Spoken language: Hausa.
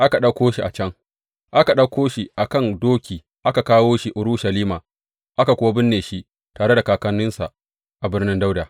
Aka ɗauko shi a kan doki aka kawo shi Urushalima, aka kuwa binne shi tare da kakanninsa, a Birnin Dawuda.